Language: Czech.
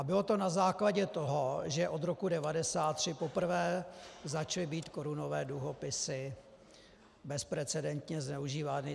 A bylo to na základě toho, že od roku 1993 poprvé začaly být korunové dluhopisy bezprecedentně zneužívány.